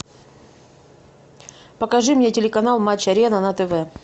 покажи мне телеканал матч арена на тв